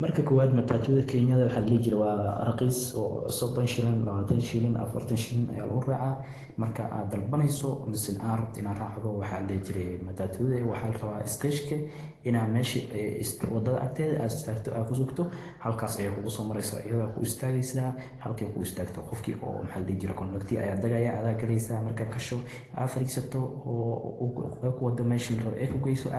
Marka kowaada Matatu daa Kenya waaxa ladiixi jire waa raqiis oo sodoon, lawatan, afaartan Shilling aya lagu raaca marka aa dalbayeso mise aa raabto ina aa racdo waxa ladixi jire waaxa larawa Stage ina mesha waadadha agteeda aa istaagto aad kusugto aya la rawa halkas aye kugu so mareysa iyadha ku istaageysa oo Kondakta aya daagaya marka gaasho oofariisato oo ey kuwado mesha aa rabte ee kugu geyso